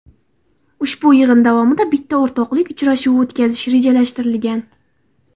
Ushbu yig‘in davomida bitta o‘rtoqlik uchrashuvi o‘tkazish rejalashtirilgan.